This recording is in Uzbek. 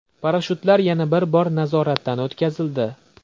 Parashyutlar yana bir bor nazoratdan o‘tkazildi.